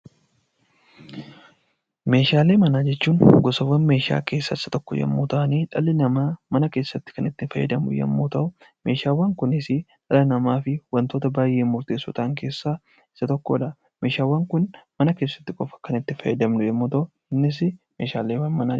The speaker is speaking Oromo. Meshaalee manaa jechuun gosaawwan meeshaa keessaa isa tokko yommuu ta'ani dhalli namaa mana keessatti kan itti fayyadamu yommuu ta'u meeshaawwan kunisi dhala namaatiif wantoota baayyee murteessoo ta'an keessaa isa tokkodha. Meeshaawwan kun mana keessatti qofa kan itti fayyadamnu yommuu ta'u innis meeshaalee manaa jedhama.